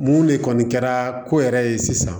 Mun de kɔni kɛra ko yɛrɛ ye sisan